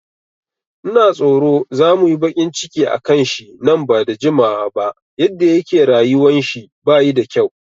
Ina tsoro za muyi baƙin ciki akan shi nan bada jimawa ba, yadda yake rayuwan shi bayi da kyau